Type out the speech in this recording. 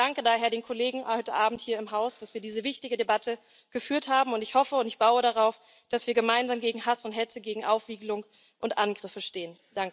Ich danke daher den Kollegen heute Abend hier im Haus, dass wir diese wichtige Debatte geführt haben, und ich hoffe und ich baue darauf, dass wir gemeinsam gegen Hass und Hetze, gegen Aufwiegelung und Angriffe stehen.